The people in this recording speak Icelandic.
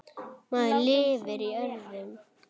Maður lifir öðrum.